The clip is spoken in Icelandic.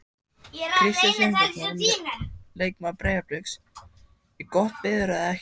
Kristinn Steindórsson leikmaður Breiðabliks: Er gott veður eða ekki?